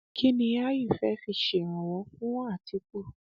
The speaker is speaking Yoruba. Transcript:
um kín ni áyù fẹ́ fi ṣèrànwọ fún àtìkù